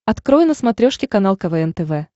открой на смотрешке канал квн тв